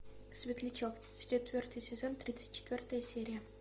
светлячок четвертый сезон тридцать четвертая серия